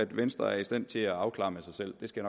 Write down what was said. venstre er i stand til at afklare med sig selv det skal